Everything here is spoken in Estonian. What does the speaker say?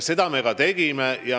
Seda me ka tegime.